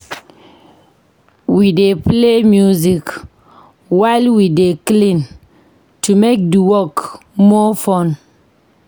We dey play music while we dey clean to make di work more fun.